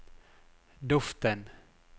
duften